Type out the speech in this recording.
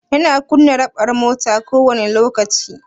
Yana kunna raɓar mota kowani lokaci?